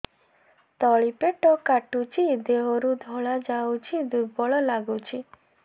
ତଳି ପେଟ କାଟୁଚି ଦେହରୁ ଧଳା ଯାଉଛି ଦୁର୍ବଳ ଲାଗୁଛି